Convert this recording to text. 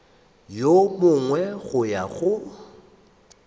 wo mongwe go ya go